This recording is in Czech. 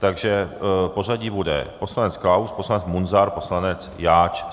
Takže pořadí bude - poslanec Klaus, poslanec Munzar, poslanec Jáč.